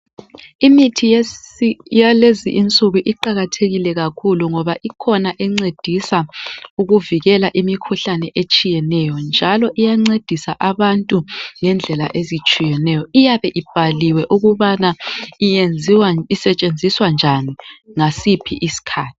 Imithi yalezinduku iqakathekile kakhulu ngoba ikhona encedisa ukuvikela imikhuhlane etshiyeneyo njalo iyancedisa abantu ngendlela ezitshiyeneyo iyabe ibhaliwe ukubana yenziwa kumbe isetshenziswa njani ngasiphi isikhathi.